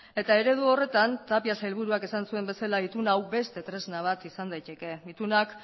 eta eredu horretan tapia sailburuak esan zuen bezala itun hau beste tresna bat izan daiteke itunak